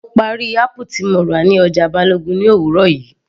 Mo parí apple tí mo rà ní ọjà Balogun ní òwúrọ̀ yìí